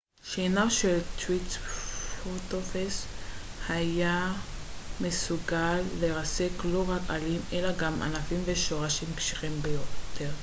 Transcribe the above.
שיניו של הטריצרטופס היו מסוגלות לרסק לא רק עלים אלא גם ענפים ושורשים קשיחים ביותר